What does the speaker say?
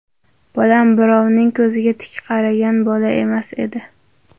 Bolam birovning ko‘ziga tik qaragan bola emas edi.